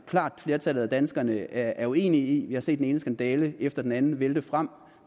klart flertal af danskerne er uenige i vi har set den ene skandale efter den anden vælte frem og